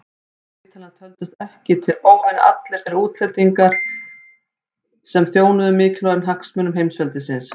Og vitanlega töldust ekki til óvina allir þeir útlendingar sem þjónuðu mikilvægum hagsmunum heimsveldisins.